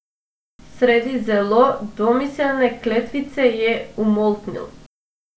Sredi zelo domiselne kletvice je umolknil.